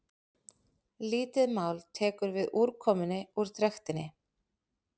lítið mál tekur við úrkomunni úr trektinni